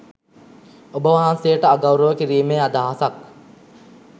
ඔබවහන්සේට අගෞරව කිරීමේ අදහසක්